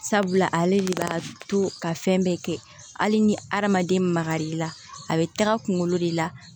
Sabula ale de b'a to ka fɛn bɛɛ kɛ hali ni hadamaden magarila a be taga kunkolo de la